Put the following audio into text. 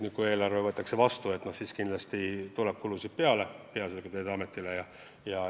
Aga kindlasti tuleb kulusid juurde peaasjalikult Veeteede Ametile.